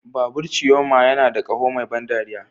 Babur Chioma yana da ƙaho mai ban ɗariya.